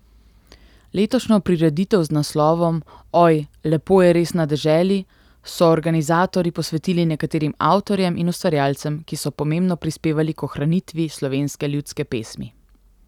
Letošnjo prireditev z naslovom Oj, lepo je res na deželi, so organizatorji posvetili nekaterim avtorjem in ustvarjalcem, ki so pomembno prispevali k ohranitvi slovenske ljudske pesmi.